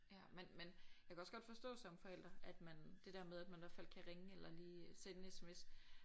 Ja men men jeg kan også godt forstå som forælder at man det der med at man og fald kan ringe eller lige sende en SMS